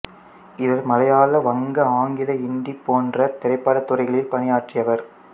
இவர் மலையாள வங்க ஆங்கில இந்தி போன்ற திரைப்படத் துறைகளில் பணியாற்றியவர்